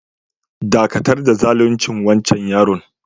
Dakatar da zalunce wancan yaron!